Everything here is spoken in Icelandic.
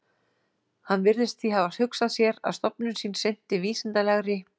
Hann virðist því hafa hugsað sér, að stofnun sín sinnti vísindalegri